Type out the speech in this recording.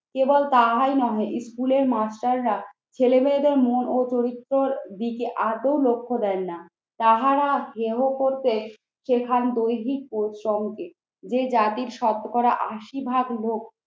কেবল তাহাই নহে ইস্কুলের মাস্টাররা ছেলেমেয়েদের মন ও চরিত্রর দিকে আদৌ লক্ষ্য দেন না। তাহারা হেয় করতে সেখান দৈহিক পরিশ্রমকে। যে জাতির শতকরা আশি ভাগ লোক